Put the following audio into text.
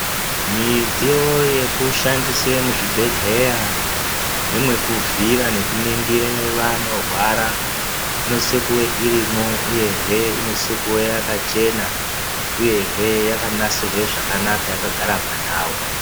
Midziyo yekushandise muzvibhehleya nemwekuvhiira nekuningire vanorwara inosise kuve iiirimwo uyehe inosise kuva yakachena uyehe yakanasirwe zvakanaka yakagara pandau.